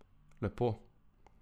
Lepo.